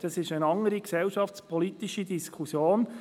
Es ist eine andere gesellschaftspolitische Diskussion.